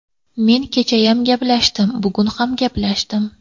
Men kechayam gaplashdim, bugun ham gaplashdim.